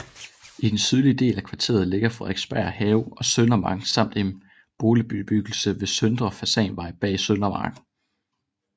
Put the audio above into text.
I den sydlige del af kvarteret ligger Frederiksberg Have og Søndermarken samt en boligbebyggelse ved Søndre Fasanvej bag Søndermarken